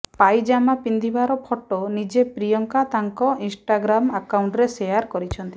ପାଇଜାମା ପିନ୍ଧିବାର ଫଟୋ ନିଜେ ପ୍ରିୟଙ୍କା ତାଙ୍କ ଇନ୍ଷ୍ଟାଗ୍ରାମ୍ ଆକାଉଣ୍ଟରେ ଶେୟାର କରିଛନ୍ତି